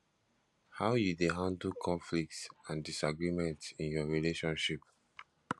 how you dey handle conflicts and disagreements in your relationship